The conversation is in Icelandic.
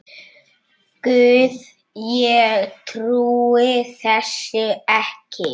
Guð, ég trúi þessu ekki